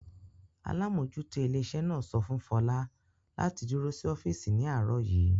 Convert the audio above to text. Alámójútó ilé iṣẹ́ náà sọ fún Fọlá láti dúró sí ọ́físì ní àárọ̀ yìí